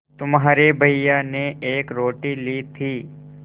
तुम्हारे भैया ने एक रोटी ली थी